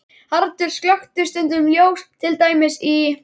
Haraldur slökkti stundum ljós, til dæmis í